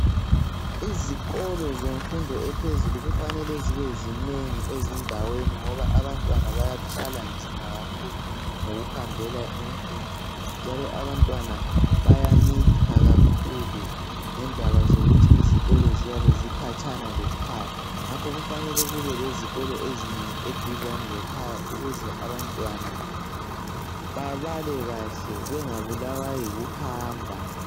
Izikolo zemfundo ephezulu kufanele zibe zinengi ezindaweni ngoba abantwana bayathwala nzima kakhulu ngoku hambela imfundo . Njalo abantwana bayamitha kakhulu ngendaba zokuthi izikolo ziyabe zikhatshana lekhaya . Ngakho kufanele kube lezikolo ezinengi eduzane lekhaya ukuze abantwana babale kahle bengabulawa yikuhamba. .